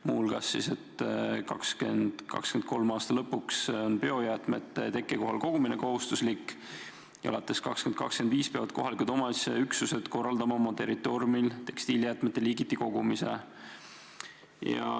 Muu hulgas on öeldud, et 2023. aasta lõpuks on biojäätmete tekkekohal kogumine kohustuslik ja alates 2025. aastast peavad kohalikud omavalitsusüksused korraldama oma territooriumil tekstiilijäätmete liigiti kogumise.